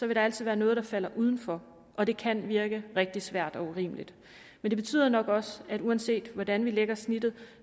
der altid være noget der falder udenfor og det kan virke rigtig svært og urimeligt men det betyder nok også at uanset hvordan vi lægger snittet